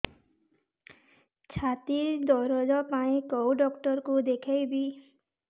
ଛାତି ଦରଜ ପାଇଁ କୋଉ ଡକ୍ଟର କୁ ଦେଖେଇବି